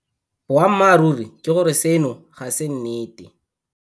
Boammaruri ke gore seno ga se nnete.